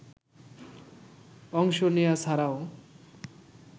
অংশ নেয়া ছাড়াও